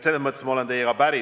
Selles mõttes ma olen teiegi päri.